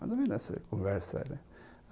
Mas não vi não essa conversa.